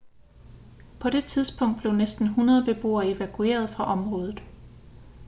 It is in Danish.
på det tidspunkt blev næsten 100 beboere evakueret fra området